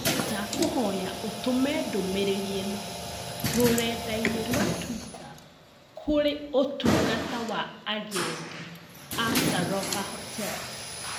Ndakũhoya ũtũme ndũmĩrĩri ĩno rũrenda-inī rũa tũita kurĩ ũtungata wa agendĩ ma Sarova hotels